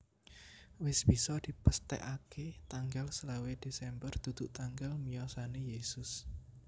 Wis bisa dipesthèkaké tanggal selawe Desember dudu tanggal wiyosané Yesus